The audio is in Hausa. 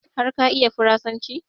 Har ka iya farasanci?